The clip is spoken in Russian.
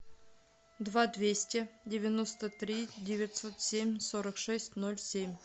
два двести девяносто три девятьсот семь сорок шесть ноль семь